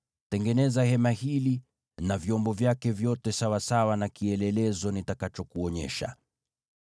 Tengeneza hema hili na vyombo vyake vyote sawasawa na kielelezo nitakachokuonyesha.